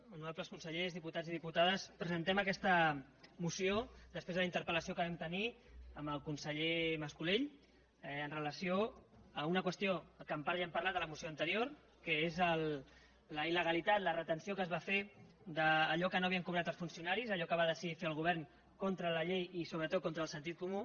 honorables consellers diputats i diputades presentem aquesta moció després de la interpel·lació que vam tenir amb el conseller mas colell amb relació a una qüestió que en part ja hem parlat a la moció anterior que és la il·legalitat la retenció que es va fer d’allò que no havien cobrat els funcionaris allò que va decidir fer el govern contra la llei i sobretot contra el sentit comú